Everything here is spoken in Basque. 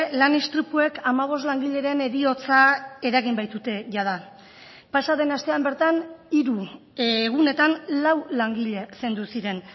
lan istripuek hamabost langileren heriotza eragin baitute jada pasaden astean bertan hiru egunetan lau langile zendu ziren